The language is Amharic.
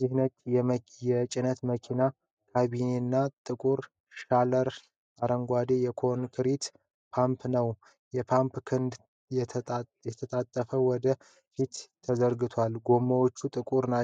ይህ ነጭ የጭነት መኪና ካቢኔና ጥቁር ሻሲ ያለው አረንጓዴ የኮንክሪት ፓምፕ ነው። የፓምፑ ክንድ ተጣጥፎ ወደ ፊት ተዘርግቷል፤ ጎማዎቹ ጥቁርና